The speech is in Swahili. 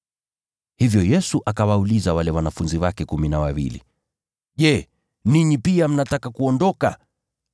Hivyo Yesu akawauliza wale wanafunzi wake kumi na wawili, “Je, ninyi pia mnataka kuondoka?”